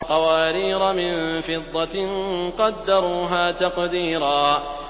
قَوَارِيرَ مِن فِضَّةٍ قَدَّرُوهَا تَقْدِيرًا